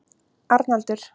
Arnaldur